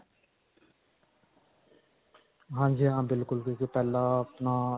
ਹਾਂਜੀ ਹਾਂ ਬਿਲਕੁਲ, ਬਿਲਕੁਲ ਪਹਿਲਾਂ ਆਪਣਾ.